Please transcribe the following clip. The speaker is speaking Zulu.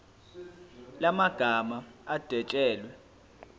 la magama adwetshelwe